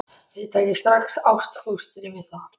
Þið takið strax ástfóstri við það.